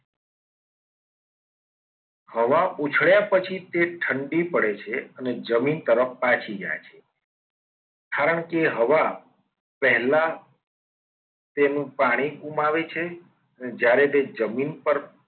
આવા ઉછળ્યા પછી તે ઠંડી પડે છે. અને જમીન તરફ પાછી જાય છે કારણ કે હવા પહેલાં તેનું પાણી ગુમાવે છે. અને જ્યારે તે જમીન પર